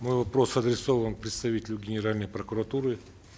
мой вопрос адресован представителю генеральной прокуратуры